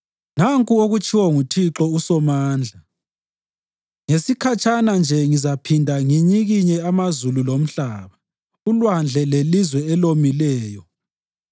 Nanku okutshiwo nguThixo uSomandla: ‘Ngesikhatshana nje ngizaphinda nginyikinye amazulu lomhlaba, ulwandle lelizwe elomileyo.